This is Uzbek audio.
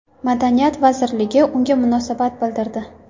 Madaniyat vazirligi unga munosabat bildirdi .